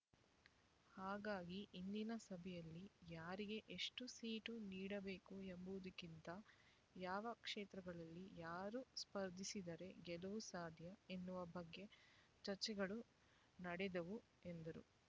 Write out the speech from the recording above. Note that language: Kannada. ಹಾಗಾಗಿ ಇಂದಿನ ಸಭೆಯಲ್ಲಿ ಯಾರಿಗೆ ಎಷ್ಟು ಸೀಟು ನೀಡಬೇಕು ಎಂಬುದಕ್ಕಿಂತ ಯಾವ ಕ್ಷೇತ್ರಗಳಲ್ಲಿ ಯಾರು ಸ್ಪರ್ಧಿಸಿದರೆ ಗೆಲುವು ಸಾಧ್ಯ ಎನ್ನುವ ಬಗ್ಗೆ ಚರ್ಚೆಗಳು ನಡೆದವು ಎಂದರು